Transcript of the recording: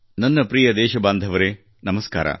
ನನ್ನ ಪ್ರಿಯ ದೇಶಬಾಂಧವರೆ ನಮಸ್ಕಾರ